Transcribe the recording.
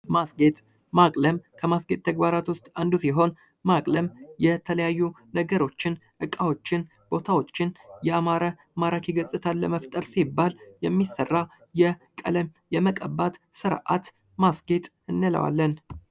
ማስጌጥ ማቅለም ከማስጌጥ ተግባራት ውስጥ አንዱ ሲሆን ማቅለም የተለያዩ ነገሮችን እቃዎችን ቦታዎችን ያማረ ማራኪ ገጽታን ለመፍጠር ሲባል የሚሰራ የቀለም የመቀባት ስርዓት ማስጌጥ እንለዋለን።